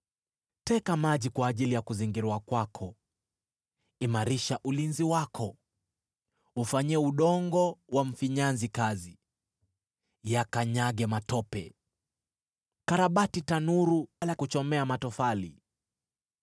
Teka maji kwa ajili ya kuzingirwa kwako, imarisha ulinzi wako, Ufanyie udongo wa mfinyanzi kazi, yakanyage matope, karabati tanuru la kuchomea matofali!